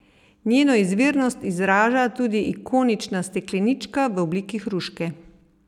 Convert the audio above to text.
Njeno izvirnost odraža tudi ikonična steklenička v obliki hruške.